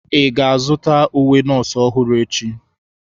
Ị ga-azụta uwe nọọsụ ọhụrụ echi?